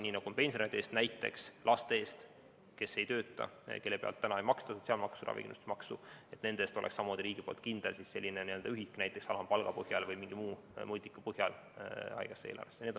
Nii nagu makstakse pensionäride eest, võiks ka näiteks laste puhul, kes ei tööta, kelle pealt ei maksta sotsiaalmaksu ja ravikindlustusmaksu, samuti olla riigil kindel n‑ö ühik näiteks alampalga või mingi muu mõõdiku põhjal haigekassa eelarve jaoks.